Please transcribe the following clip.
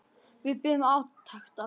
Við biðum átekta.